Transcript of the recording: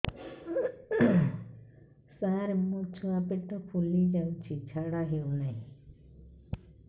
ସାର ମୋ ଛୁଆ ପେଟ ଫୁଲି ଯାଉଛି ଝାଡ଼ା ହେଉନାହିଁ